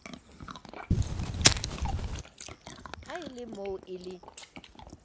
ha e lemoo e le